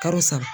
Kalo saba